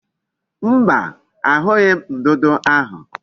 Mba, ahughi m ndudu ahu